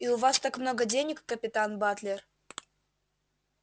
и у вас так много денег капитан батлер